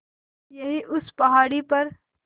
यहीं उस पहाड़ी पर